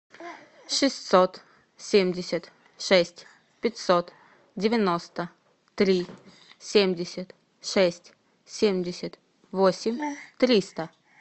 шестьсот семьдесят шесть пятьсот девяносто три семьдесят шесть семьдесят восемь триста